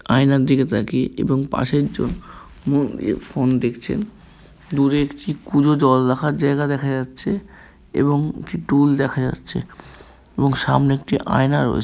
আয়নার দিকে তাকিয়ে এবং পাশে একজন মন দিয়ে ফোন দেখছেন। দূরে একটি কুঁজো জল রাখার জায়গা দেখা যাচ্ছে এবং একটি টুল দেখা যাচ্ছে এবং সামনে একটি আয়না রয়েছ --